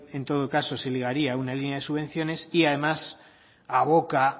en todo caso se ligaría a una línea de subvenciones y además aboca